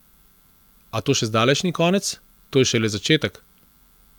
A to še zdaleč ni konec, to je šele začetek!